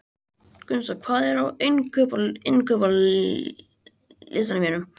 Gunnsa, hvað er á innkaupalistanum mínum?